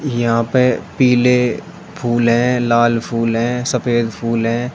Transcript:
यहां पे पीले फूल है लाल फूल है सफेद फूल है।